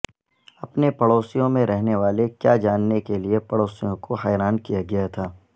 اپنے پڑوسیوں میں رہنے والے کیا جاننے کے لئے پڑوسیوں کو حیران کیا گیا تھا